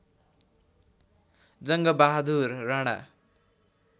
Jangbahadur Rana